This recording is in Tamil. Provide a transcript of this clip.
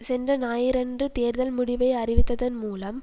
சென்ற ஞாயிறன்று தேர்தல் முடிவை அறிவித்ததன் மூலம்